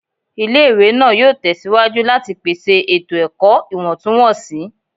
Ile-iwe naa yoo tẹsiwaju lati pese eto-ẹkọ iwọntunwọnsi